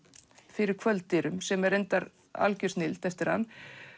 fyrir kvölddyrum sem er algjör snilld eftir hann